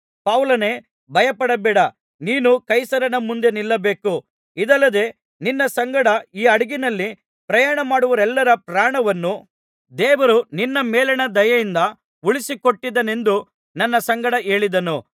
ಪೌಲನೇ ಭಯಪಡಬೇಡ ನೀನು ಕೈಸರನ ಮುಂದೆ ನಿಲ್ಲಬೇಕು ಇದಲ್ಲದೆ ನಿನ್ನ ಸಂಗಡ ಈ ಹಡಗಿನಲ್ಲಿ ಪ್ರಯಾಣಮಾಡುವವರೆಲ್ಲರ ಪ್ರಾಣವನ್ನು ದೇವರು ನಿನ್ನ ಮೇಲಣ ದಯೆಯಿಂದ ಉಳಿಸಿಕೊಟ್ಟಿದ್ದಾನೆಂದು ನನ್ನ ಸಂಗಡ ಹೇಳಿದನು